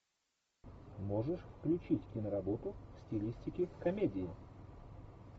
можешь включить киноработу в стилистике комедии